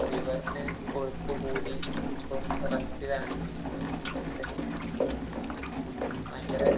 ലിവറിനു കൊഴുപ്പ് കൂടി ഇപ്പം റെസ്റ്റിലാണ്. ഭയങ്കര